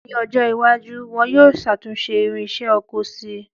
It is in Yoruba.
Ní ọjọ́ iwájú, wọ́n yóò ṣàtúnṣe irinsẹ́ oko si